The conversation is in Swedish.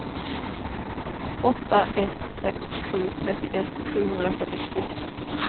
åtta ett sex sju trettioett sjuhundrafyrtiotvå